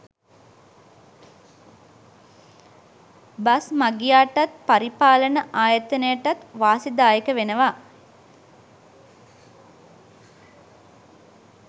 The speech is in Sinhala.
බස් මගියාටත් පරිපාලන ආයතනයටත් වාසිදායක වෙනවා.